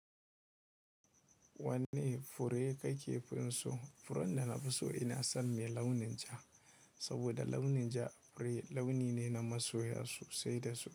Wanne fure kakefin so? Furin da nafi so ina son mai launin ja, saboda launin ja fure launi ne na masoya sosai da su.